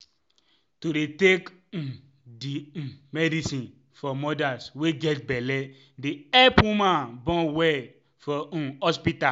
to dey take um di um medicine for modas wey get belle dey epp woman born well for um hospita.